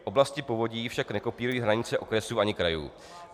Oblasti povodí však nekopírují hranice okresů ani krajů.